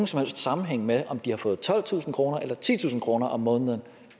som helst sammenhæng med om de har fået tolvtusind kroner eller titusind kroner om måneden